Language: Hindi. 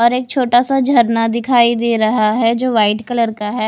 और एक छोटा सा झरना दिखाई दे रहा है जो व्हाइट कलर का है।